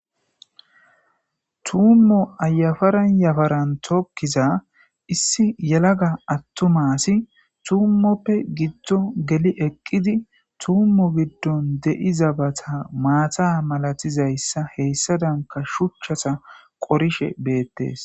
Tuumo yafaran yafarni tokiza issi yelaga atuma asiy tuimoppw gidon geli eqidi tuumo giddoni de'izabata maata malatizaysa hesadanka shuchata qorishe beetesi.